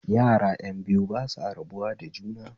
Yara ƴan biyu ba san rabuwa da juna